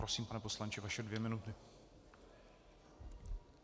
Prosím, pane poslanče, vaše dvě minuty.